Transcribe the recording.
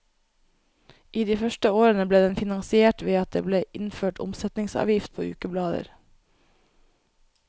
I de første årene ble den finansiert ved at det ble innført omsetningsavgift på ukeblader.